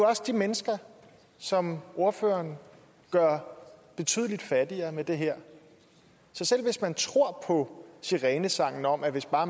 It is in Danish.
også de mennesker som ordføreren gør betydelig fattigere med det her så selv hvis man tror på sirenesangen om at hvis bare